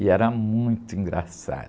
E era muito engraçado.